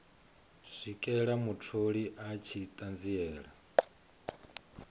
swikela mutholi a tshi ṱanziela